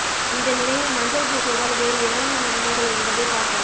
இந்த நிலையில் மஞ்சள் பூசுவதால் வேறு என்னென்ன நன்மைகள் என்பதை பார்ப்போம்